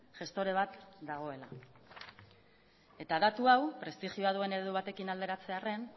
gestore bat dagoela eta datu hau prestigioa duen eredu batekin alderatzearren